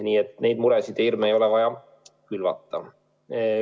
Nii et niisuguseid muresid ja hirme ei ole vaja külvata.